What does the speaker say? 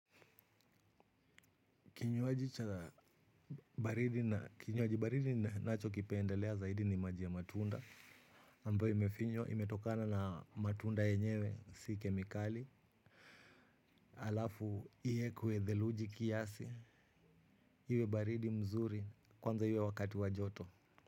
Kinywaji baridi ninachokipendelea zaidi ni maji ya matunda ambayo imefinywa imetokana na matunda yenyewe si kemikali. Alafu iekwe theluji kiasi. Iwe baridi mzuri kwanza iwe wakati wa joto.